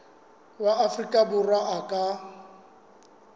wa afrika borwa a ka